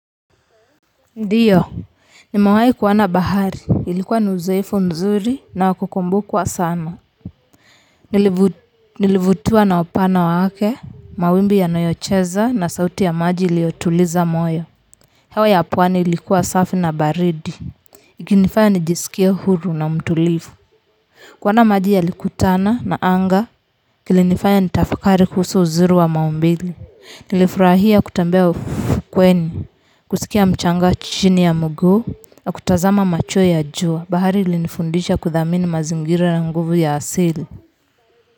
Ndiyo, nimewahi kuona bahari ilikuwa ni uzoefu mzuri na ya kukumbukwa sana. Nilivutiwa na upana wake, mawimbi yanayocheza na sauti ya maji iliyotuliza moyo. Hewa ya pwani ilikuwa safi na baridi ikinifanya nijisikie huru na mtulivu. Kuona maji yakikutana na anga. Kilinifanya nitafakari kuhusu uzuri wa maumbile. Nilifurahia kutembea ufukweni. Kusikia mchanga chini ya miguu na kutazama macheo ya jua. Bahari ilinifundisha kuthamini mazingira na nguvu ya asili.